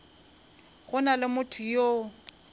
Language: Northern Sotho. go na le motho yo